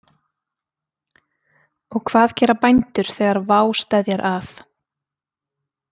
Og hvað gera bændur þegar vá steðjar að?